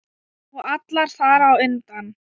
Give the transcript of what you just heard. Og alla þar á undan.